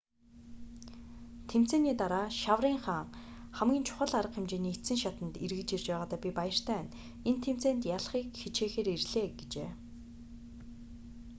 тэмцээний дараа шаврын хаан хамгийн чухал арга хэмжээний эцсийн шатанд эргэж ирж байгаадаа би баяртай байна энэ тэмцээнд ялахыг хичээхээр ирлээ гэжээ